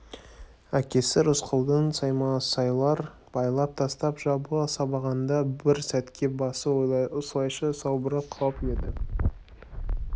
әкесі рысқұлдың саймасайлар байлап тастап жабыла сабағанда бір сәтке басы осылайша салбырап қалып еді